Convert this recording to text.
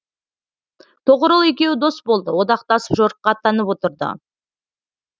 тоғырыл екеуі дос болды одақтасып жорыққа аттанып отырды